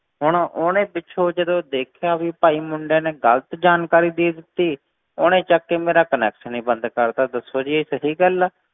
ਹੁਣ ਉਹਨੇ ਪਿੱਛੋਂ ਜਦੋਂ ਦੇਖਿਆ ਵੀ ਭਾਈ ਮੁੰਡੇ ਨੇ ਗ਼ਲਤ ਜਾਣਕਾਰੀ ਦੇ ਦਿੱਤੀ, ਉਹਨੇ ਚੁੱਕ ਕੇ ਮੇਰਾ connection ਹੀ ਬੰਦ ਕਰ ਦਿੱਤਾ, ਦੱਸੋ ਜੀ ਇਹ ਸਹੀ ਗੱਲ ਹੈ।